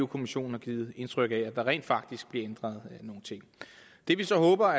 kommissionen har givet indtryk af at der rent faktisk blev ændret nogle ting det vi så håber